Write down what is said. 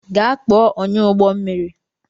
Gaa kpo ọnyáụgbọ mmiri!